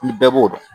Ni bɛɛ b'o dɔn